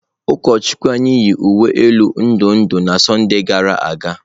Ụkọchukwu anyị yi uwe elu ndụ ndụ na Sọnde gara aga.